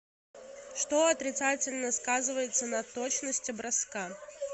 что отрицательно сказывается на точности броска